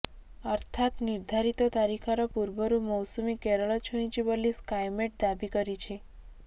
ଅର୍ଥାତ ନିର୍ଦ୍ଧାରିତ ତାରିଖର ପୂର୍ବରୁ ମୌସୁମୀ କେରଳ ଛୁଇଁଛି ବୋଲି ସ୍କାଏମେଟ ଦାବି କରିଛି